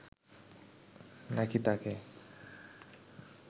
নাকি তাকে